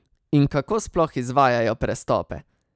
In kako sploh izvajajo prestope?